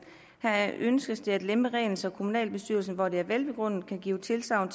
her ønskes det at lempe reglen så kommunalbestyrelsen hvor det er velbegrundet kan give tilsagn